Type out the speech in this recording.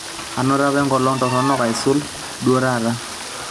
anoto apa enkolong' torono aisul duo taata